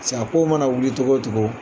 pasek' a ko mana wuli cogo o cogo